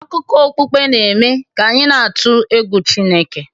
Akụkọ okpukpe n'eme ka anyị na-atụ egwu Chineke